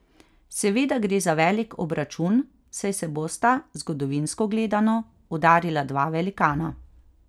Seveda gre za velik obračun, saj se bosta, zgodovinsko gledano, udarila dva velikana.